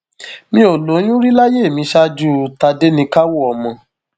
mi ò lóyún rí láyé mi ṣáájú tádéníkàwò ọmọ